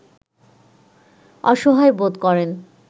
অসহায় বোধ করেন